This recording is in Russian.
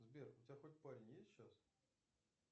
сбер у тебя хоть парень есть сейчас